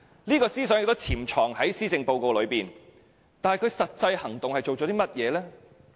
這個思想也潛藏在施政報告當中，但他做了甚麼實際行動呢？